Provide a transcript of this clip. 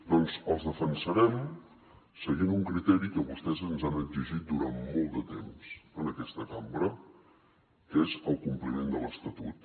doncs els defensarem seguint un criteri que vostès ens han exigit durant molt de temps en aquesta cambra que és el compliment de l’estatut